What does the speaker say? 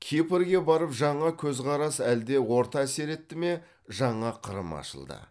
кипрге барып жаңа көзқарас әлде орта әсер етті ме жаңа қырым ашылды